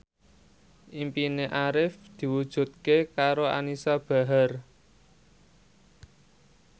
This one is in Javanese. impine Arif diwujudke karo Anisa Bahar